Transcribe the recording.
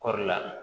Kɔɔri la